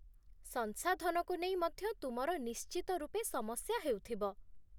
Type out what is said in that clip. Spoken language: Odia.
ସଂସାଧନକୁ ନେଇ ମଧ୍ୟ ତୁମର ନିଶ୍ଚିତ ରୂପେ ସମସ୍ୟା ହେଉଥିବ।